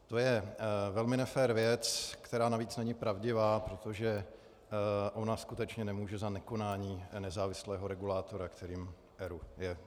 To je velmi nefér věc, která navíc není pravdivá, protože ona skutečně nemůže za nekonání nezávislého regulátora, kterým ERÚ je.